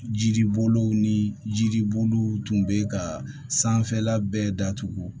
Jiriboliw ni jiriboliw tun bɛ ka sanfɛla bɛɛ datugu